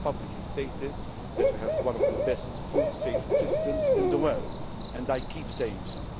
possible. I have publicly stated that we have one of the best food safety systems in the world and I keep on